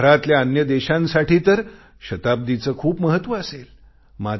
जगभरातल्या अन्य देशांसाठी तर शताब्दीचे खूप महत्व असेल